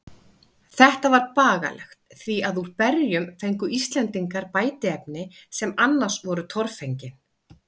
Þetta var bagalegt, því að úr berjum fengu Íslendingar bætiefni, sem annars voru torfengin.